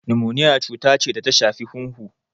Nimoniya cuta ce da ta shafi hunhu.